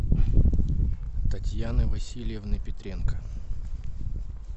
татьяны васильевны петренко